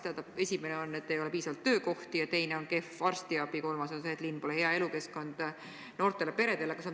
Tähendab, esimene põhjus on see, et ei ole piisavalt töökohti, teine on kehv arstiabi ja kolmas on see, et linn pole hea elukeskkond noortele peredele.